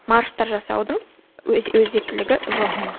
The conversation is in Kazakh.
марштар жасаудың өзектілігі жоқ мхм